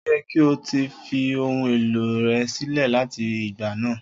O yẹ ki o ti fi ohun elo rẹ silẹ lati igba naa!